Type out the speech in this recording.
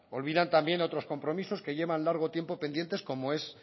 olvidan también otros compromisos que llevan largo tiempo pendientes como es